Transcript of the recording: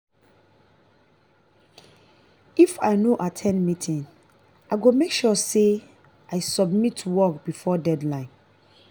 if i no at ten d meeting i go make sure say i submit work before deadline.